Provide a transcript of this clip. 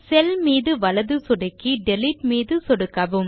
செல் மீது வலது சொடுக்கி டிலீட் மீது சொடுக்கவும்